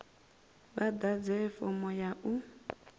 vha ḓadze fomo ya u